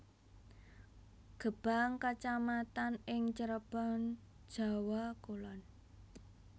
Gebang kecamatan ing Cirebon Jawa Kulon